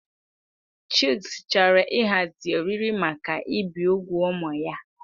Chucks chọrọ ịhazi oriri maka ibi úgwù ụmụ ya.